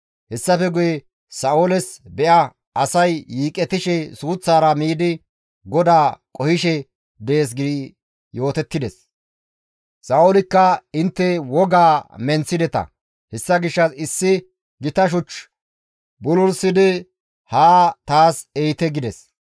Hessafe guye Sa7ooles, «Be7a asay yiiqetishe suuththara miidi GODAA qohishe dees» gi yootettides. Sa7oolikka, «Intte wogaa menththideta; hessa gishshas issi gita shuch bululissidi haa taas ehite» gides.